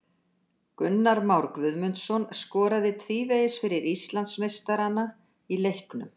Gunnar Már Guðmundsson skoraði tvívegis fyrir Íslandsmeistarana í leiknum.